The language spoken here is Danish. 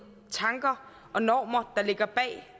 tanker og normer der ligger bag